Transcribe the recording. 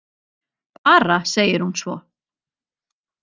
Bara segir hún svo.